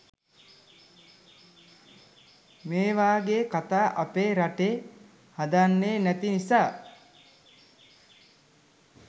මේවගේ කතා අපේ රටේ හදන්නේ නැති නිසා